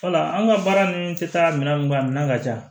Wala an ka baara ninnu tɛ taa minɛn min ka minɛn ka ca